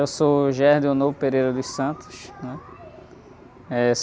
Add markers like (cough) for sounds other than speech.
Eu sou, (unintelligible) né? Eh...